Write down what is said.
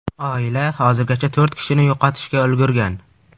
Oila hozirgacha to‘rt kishini yo‘qotishga ulgurgan.